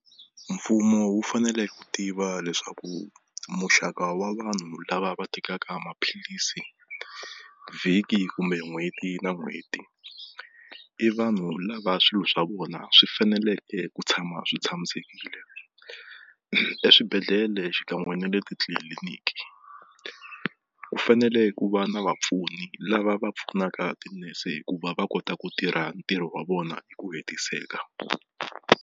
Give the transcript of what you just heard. Mfumo wu fanele ku tiva leswaku muxaka wa vanhu lava va tekaka maphilisi vhiki kumbe n'hweti na n'hweti i vanhu lava swilo swa vona swi faneleke ku tshama swi tshamisekile eswibedhlele xikan'we ne le titliliniki ku fanele ku va na vapfuni lava va pfunaka tinese hi ku va va kota ku tirha ntirho wa vona hi ku hetiseka.